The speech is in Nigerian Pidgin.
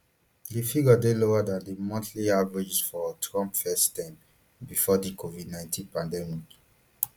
di figures dey lower dan di monthly averages for trump first term before di covidnineteen pandemic